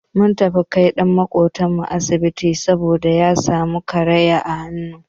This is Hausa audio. Mun tafi kai ɗan maƙocin mu asibiti saboda ya samu karaya a hannu.